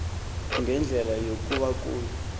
ngendlela yokuba kuye